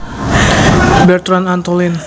Bertrand Antolin